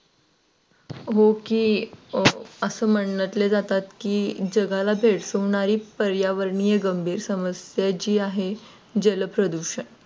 Ok असं म्हटलं जातात की जगाला भेडसावणारी पर्यावरणीय गंभीर समस्या जे आहे जलप्रदूषण.